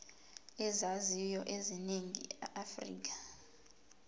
ezaziwayo eningizimu afrika